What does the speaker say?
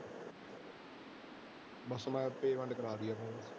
ਬਸ ਮੈਂ payment ਕਰਵਾ